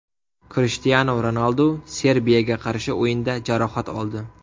Krishtianu Ronaldu Serbiyaga qarshi o‘yinda jarohat oldi.